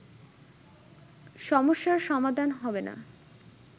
সমস্যার সমাধান হবে না